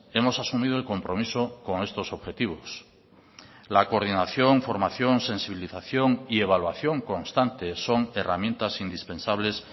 hemos asumido el compromiso con estos objetivos la coordinación formación sensibilización y evaluación constante son herramientas indispensables